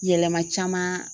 Yɛlɛma caman